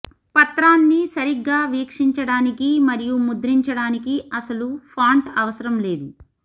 పత్రాన్ని సరిగ్గా వీక్షించడానికి మరియు ముద్రించడానికి అసలు ఫాంట్ అవసరం లేదు